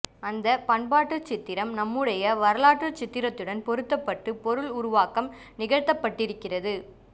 அந்ப் பண்பாட்டுச்சித்திரம் நம்முடைய வரலாற்றுச் சித்திரத்துடன் பொருத்தப்பட்டுப் பொருள் உருவாக்கம் நிகழ்த்தப்பட்டிருக்கிறது